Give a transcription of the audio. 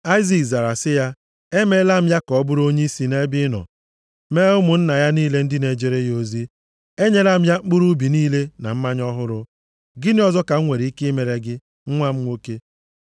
Aịzik zara sị ya, “Emeela m ya ka ọ bụrụ onyeisi nʼebe ị nọ, mee ụmụnna ya niile ndị na-ejere ya ozi. Enyela m ya mkpụrụ ubi niile na mmanya ọhụrụ. Gịnị ọzọ ka m nwere ike imere gị, nwa m nwoke?”